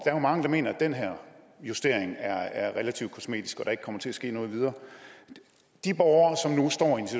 er jo mange der mener at den her justering er er relativt kosmetisk og ikke kommer til at ske noget videre de borgere